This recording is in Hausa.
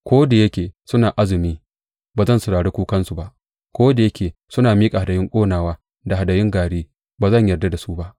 Ko da yake suna azumi, ba zan saurari kukansu ba, ko da yake suna miƙa hadayun ƙonawa da hadayun gari, ba zan yarda da su ba.